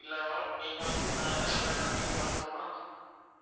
இல்ல ma'am நீங்க வந்து நான் என்ன சொல்றேன்னா நீங்க order பண்ணா